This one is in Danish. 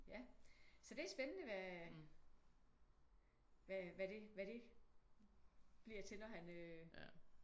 Ja så det er spændende hvad hvad det bliver til når han øh